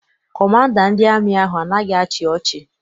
Kọmanda ndị amị ahụ anaghị achị ọcha.